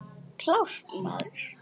Klárt, maður!